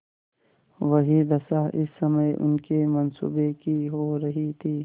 वही दशा इस समय उनके मनसूबों की हो रही थी